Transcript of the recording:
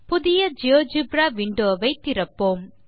புதிய GeoGebra window வை திறப்போம்